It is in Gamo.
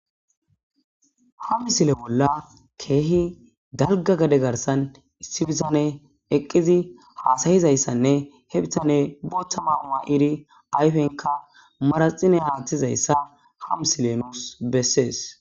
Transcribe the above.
ham sile bolla keehi dalga gade garsan issibisane eqqizi haasayizayssanne hebitane bootta maama iri ayfenka maraxine haathtizayssa ham silenous bessees